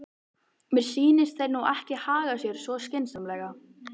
Mér sýnist þeir nú ekki haga sér svo skynsamlega.